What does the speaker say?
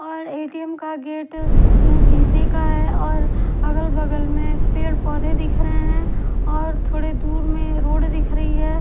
और ए_टी_एम का गेट शीशे का है और अगल बगल में पेड़ पौधे दिख रहे हैं और थोड़े दूर में रोड दिख रही है।